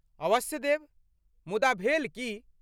अवश्य देब, मुदा भेल की?